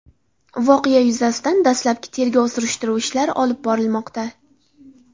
Voqea yuzasidan dastlabki tergov-surishtiruv ishlari olib borilmoqda.